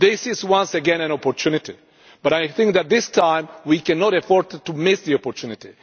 This is once again an opportunity, but I think that this time we cannot afford to miss the opportunity.